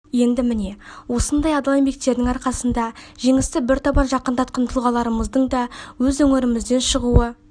еді міне осындай адал еңбектерінің арқасында жеңісті бір табан жақындатқан тұлғаларымыздың да өз өңірімізден шығуы